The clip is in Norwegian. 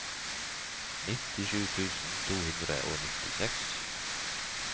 nittisju tusen to hundre og nittiseks